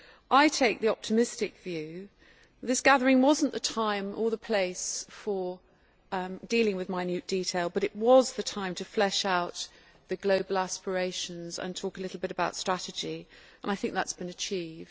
I take the optimistic view that this gathering was not the time or the place for dealing with minute detail, but was the time to flesh out the global aspirations and talk a bit about strategy, and I think that has been achieved.